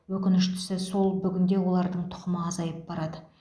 өкініштісі сол бүгінде олардың тұқымы азайып барады